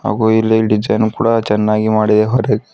ಹಾಗು ಇಲ್ಲಿ ಡಿಸೈನ್ ಕೂಡ ಚೆನ್ನಾಗಿ ಮಾಡಿದೆ ಹೊರಗೆ--